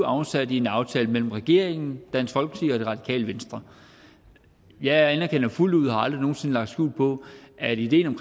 afsat i en aftale mellem regeringen dansk folkeparti og det radikale venstre jeg anerkender fuldt ud og har aldrig nogen sinde lagt skjul på at ideen om